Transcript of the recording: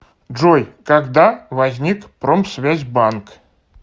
джой когда возник промсвязьбанк